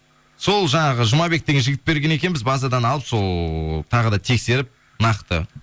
сол жаңағы жұмабек деген жігіт берген екен біз базадан алып сол тағы да тексеріп нақты